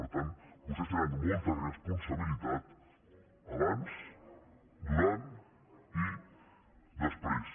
per tant vostès hi tenen molta responsabilitat abans durant i després